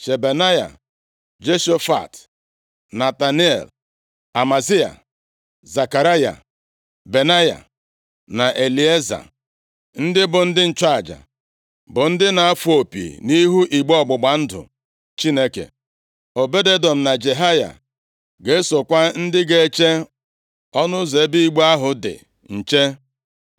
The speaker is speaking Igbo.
Shebanaya, Joshafat, Netanel, Amasai, Zekaraya, Benaya na Elieza, ndị bụ ndị nchụaja bụ ndị na-afụ opi nʼihu igbe ọgbụgba ndụ Chineke. Obed-Edọm na Jehaya ga-esokwa ndị ga-eche ọnụ ụzọ ebe igbe ahụ dị nche.